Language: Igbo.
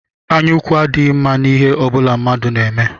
Anyaukwu adịghi mma n'ihe ọbụla mmadụ na-eme